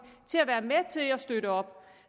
til at være med til at støtte op